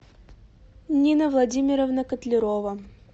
нина владимировна котлярова